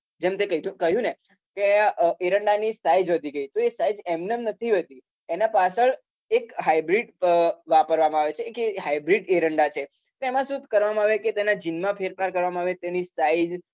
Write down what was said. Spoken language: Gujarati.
જેમ તે કીધું કહ્યું ને કે અમ એરંડાની size વધી ગઈ તો એ size એમનેમ નથી વધી એના પાછળ એક hybrid અમ વાપરવામાં આવે છે કેમ કે તે hybrid એરંડા છે તો એમાં શું કરવામાં આવે કે તેના gene માં ફેરફાર આવે તેની size